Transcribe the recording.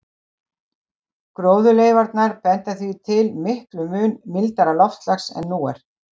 Gróðurleifarnar benda því til miklum mun mildara loftslags en nú er.